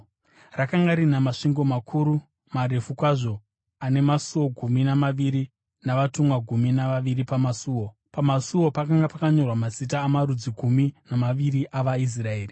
Rakanga rina masvingo makuru, marefu kwazvo ana masuo gumi namaviri navatumwa gumi navaviri pamasuo. Pamasuo pakanga pakanyorwa mazita amarudzi gumi namaviri avaIsraeri.